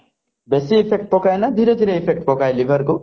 ବେଶି effect ପକାଏ ନା ଧୀରେ ଧୀରେ effect ପକାଏ liver କୁ